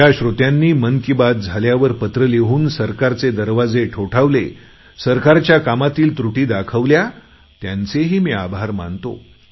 ज्या श्रोत्यांनी मन की बात झाल्यावर पत्र लिहून सरकारचे दरवाजे ठोठावले सरकारच्या कामातील त्रुटी दाखवल्या त्यांचेही मी आभार मानतो